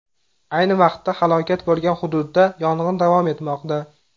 Ayni vaqtda halokat bo‘lgan hududda yong‘in davom etmoqda.